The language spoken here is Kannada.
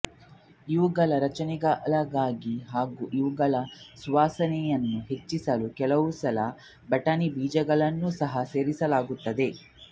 ಇವುಗಳ ರಚನೆಗಳಿಗೆ ಹಾಗೂ ಇವುಗಳ ಸುವಾಸನೆಯನ್ನು ಹೆಚ್ಚಿಸಲು ಕೆಲವುಸಲ ಬಟಾಣಿ ಬೀಜಗಳನ್ನೂ ಸಹ ಸೇರಿಸಲಾಗುತ್ತದೆ